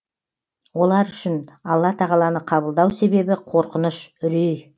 олар үшін алла тағаланы қабылдау себебі қорқыныш үрей